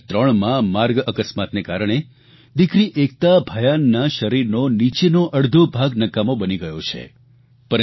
2003માં માર્ગ અકસ્માતને કારણે દિકરી એકતા ભયાનના શરીરનો નીચેનો અડધો ભાગ નકામો બની ગયો છે